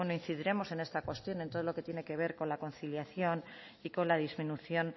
incidiremos en esta cuestión en todo lo que tiene que ver con la conciliación y con la disminución